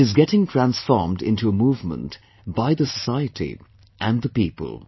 It is getting transformed into a movement by the society and the people